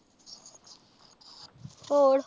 ਹੋਰ?